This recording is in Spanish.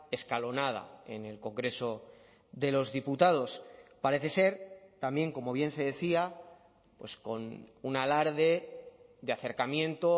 escalonada en el congreso de los diputados parece ser también como bien se decía pues con un alarde de acercamiento